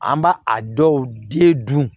An b'a a dɔw den dun